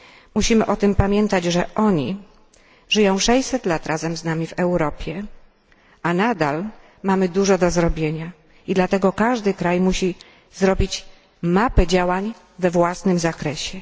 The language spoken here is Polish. Musimy o tym pamiętać, że oni żyją 600 lat razem z nami w Europie, a nadal mamy dużo do zrobienia, i dlatego każdy kraj musi przygotować mapę działań we własnym zakresie.